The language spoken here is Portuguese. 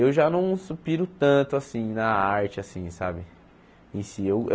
Eu já não su piro tanto na arte assim sabe em si.